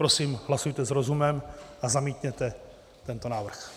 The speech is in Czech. Prosím, hlasujte s rozumem a zamítněte tento návrh.